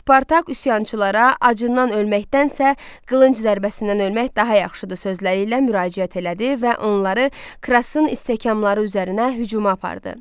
Spartak üsyançılara aclıqdan ölməkdənsə, qılınc zərbəsindən ölmək daha yaxşıdır sözləri ilə müraciət elədi və onları Krasın istəkamları üzərinə hücuma apardı.